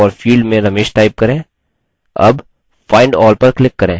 all find all पर click करें